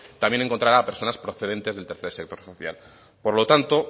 también encontrará a personas procedentes del tercer sector social por lo tanto